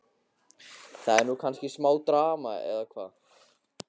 Það er nú kannski smá drama, eða hvað?